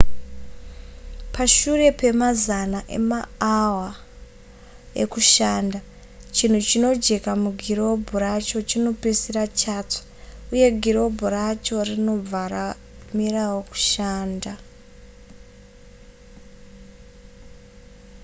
pashure pemazana emaawa ekushanda chinhu chinojeka mugirobhu racho chinopedzisira chatsva uye girobhu racho rinobva ramirawo kushanda